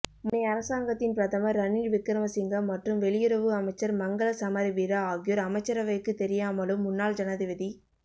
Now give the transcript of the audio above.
முன்னைய அரசாங்கத்தின் பிரதமர் ரணில் விக்ரமசிங்க மற்றும் வெளியுறவு அமைச்சர் மங்கள சமரவீர ஆகியோர் அமைச்சரவைக்கு தெரியாமலும் முன்னாள் ஜனாதிபதி